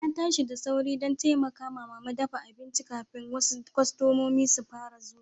Na tashi da sauri dan taimaka mama dafa abincin kafin kasu kostomomi su fara zuwa.